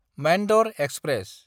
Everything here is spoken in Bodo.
मान्दर एक्सप्रेस